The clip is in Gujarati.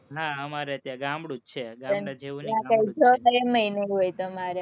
હા, અમારે તો ત્યાં ગામડું જ છે, ગામડા જેવું નથી.